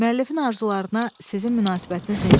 Müəllifin arzularına sizin münasibətiniz necədir?